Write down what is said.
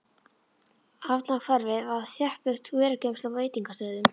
Hafnarhverfið var þéttbyggt vörugeymslum og veitingastöðum.